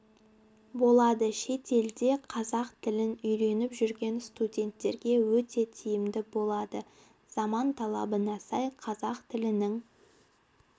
болады шетелде қазақ тілін үйреніп жүрген студенттерге өте тиімді болады заман талабына сай қазақ тілінің